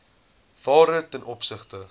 waarde ten opsigte